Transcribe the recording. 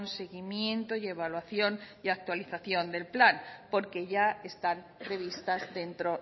seguimiento y evaluación y actualización del plan porque ya están previstas dentro